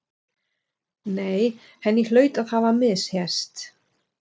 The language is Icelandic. Nei, henni hlaut að hafa misheyrst.